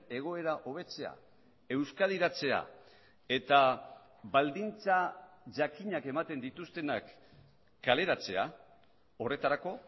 egoera hobetzea euskadiratzea eta baldintza jakinak ematen dituztenak kaleratzea horretarako